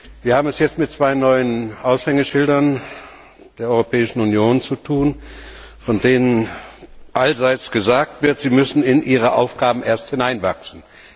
Wir haben es jetzt mit zwei neuen Aushängeschildern der Europäischen Union zu tun, von denen allseits gesagt wird, sie müssen in ihre Aufgaben erst hineinwachsen.